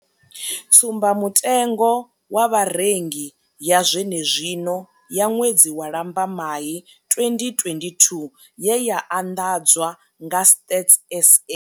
Tsumbamutengo wa Vharengi ya zwenezwino ya ṅwedzi wa Lambamai 2022 ye ya anḓadzwa nga Stats SA.